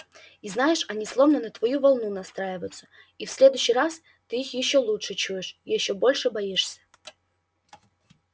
и знаешь они словно на твою волну настраиваются и в следующий раз ты их ещё лучше чуешь ещё больше боишься